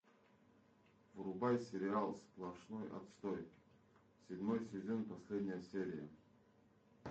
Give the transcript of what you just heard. врубай сериал сплошной отстой седьмой сезон последняя серия